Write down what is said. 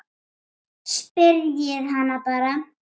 Spyrjið hana bara.